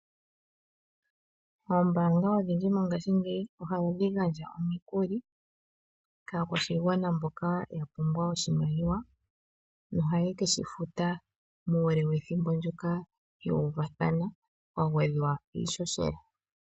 Oombaanga odhindji mongashingeyi ohadhi gandja omikuli kaakwashigwana mboka ya pumbwa oshimaliwa. Noha ye keshifuta muule wethimbo ndyoka yu uvathana kwa gwedhwa iihohela.